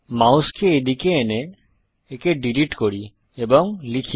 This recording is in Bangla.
মাউসকে এদিকে এনে একে ডিলিট করি এবং লিখি